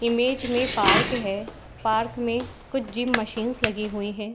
Image में park है। Park में कुछ जिम मशीन्स लगी हुई हैं।